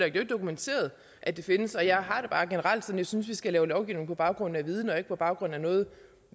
ikke dokumenteret at det findes og jeg har det bare generelt som jeg synes vi skal lave lovgivning på baggrund af viden og ikke på baggrund af noget